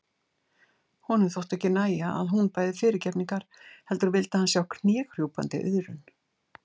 Honum þótti ekki nægja að hún bæði fyrirgefningar heldur vildi hann sjá knékrjúpandi iðrun.